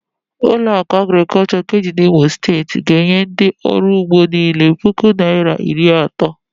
Ụlọakụ Agrịkọlshọ nke dị n'Imo Steeti ga-enye ndị ọrụugbo niile puku naịra iri asatọ.